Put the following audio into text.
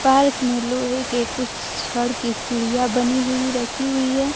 Park में लोहे के कुछ छड़ के सीढ़ियां बनी हुई रखी हुई है।